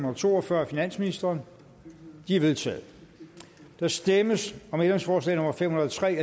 og to og fyrre af finansministeren de er vedtaget der stemmes om ændringsforslag nummer fem hundrede og tre